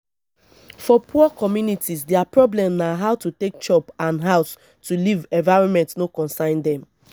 for poor communities their problem na how to take chop and house to live environment no consign them